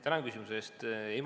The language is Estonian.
Tänan küsimuse eest!